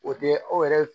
O tɛ aw yɛrɛ